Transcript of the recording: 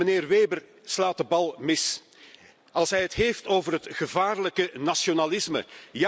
Meneer Weber slaat de plank mis als hij het heeft over het gevaarlijke nationalisme.